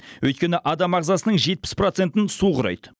өйткені адам ағзасының жетпіс процентін су құрайды